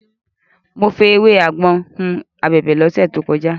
Mo fi ewé àgbọn hun abẹ̀bẹ̀ lọ́sẹ̀ tó kọjá.